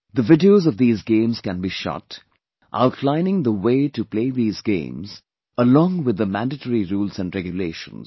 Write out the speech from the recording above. The Videos of these games can be shot, outlining the way to play these games along with the mandatory rules and regulations